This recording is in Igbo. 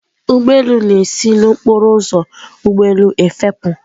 Ụgbọ elu na-esi n'okporo ụzọ ụgbọ elu efepụ.